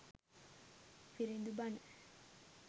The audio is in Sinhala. viridu bana